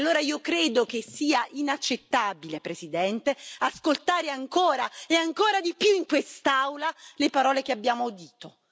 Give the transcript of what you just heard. Allora io credo che sia inaccettabile, Presidente, ascoltare ancora e ancora di più in quest'Aula le parole che abbiamo udito.